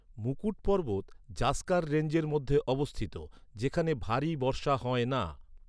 মুকুট পর্বত জাসকার রেঞ্জের মধ্যে অবস্থিত, যেখানে ভারী বর্ষা হয় না।